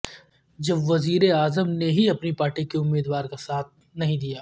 جب وزیر اعظم نے ہی اپنی پارٹی کے امیدوار کا ساتھ نہیں دیا